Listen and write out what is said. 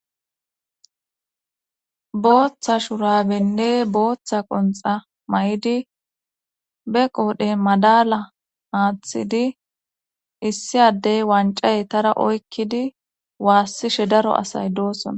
Booththa shurabenne booththa qonxa may7idi be qoodhe madala aaththidi issi addey wancaye tara oykkidi waassishe daro asay doosona.